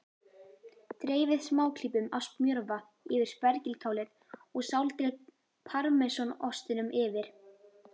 Dreifið smáklípum af smjörva yfir spergilkálið og sáldrið parmesanostinum yfir.